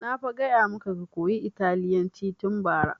Na fa gaya maka ka koya italyanci tun bara!